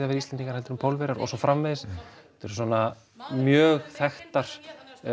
vera Íslendingar heldur en Pólverjar og svo framvegis þetta eru svona mjög þekktar